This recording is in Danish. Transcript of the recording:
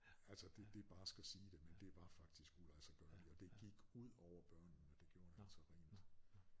Altså det det er barskt at sige det men det var faktisk uladsiggørligt og det gik ud over børnene det gjorde det altså rent